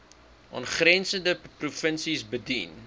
aangrensende provinsies bedien